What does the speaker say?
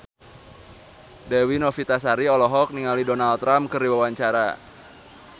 Dewi Novitasari olohok ningali Donald Trump keur diwawancara